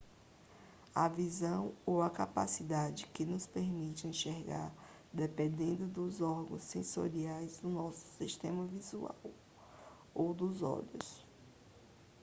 a visão ou a capacidade que nos permite enxergar depende dos órgãos sensoriais do nosso sistema visual ou dos olhos